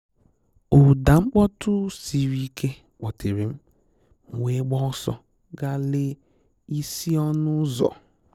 Ụ́dà mkpọtụ siri ike kpọ́tèrè m, m wee gbaa ọ́sọ́ gà lèè isi ọnụ́ ụ́zọ̀.